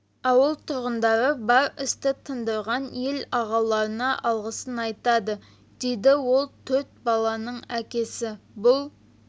ауыл тұрғындары бар істі тындырған ел ағаларына алғысын айтады дейді ол төрт баланың әкесі бұл